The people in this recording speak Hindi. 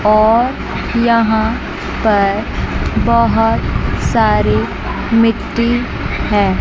और यहां पर बहोत सारी मिट्टी है।